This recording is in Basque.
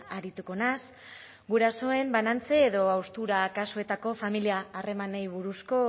arituko naiz gurasoen banantze edo haustura kasuetako familia harremanei buruzko